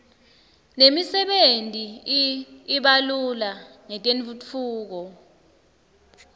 nemisebenti i iba lula ngetentfutfuko